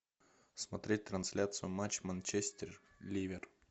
смотреть трансляцию матча манчестер ливер